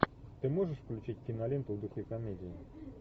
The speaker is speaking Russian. ты можешь включить киноленту в духе комедии